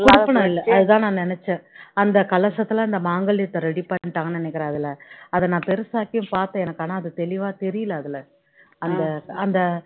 குடுப்பினை இல்ல அது தான் நான் நினைச்சேன் அந்த கலசத்துல அந்த மாங்கல்யத்தை ready பண்ணிட்டாங்க நினைக்கிறேன் அதுல அதை நான் பெருசாகியும் பார்த்தேன் எனக்கு ஆனா அது தெளிவா தெரியல அந்த அந்த